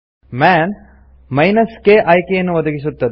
Mann k ಆಯ್ಕೆಯನ್ನು ಒದಗಿಸುತ್ತದೆ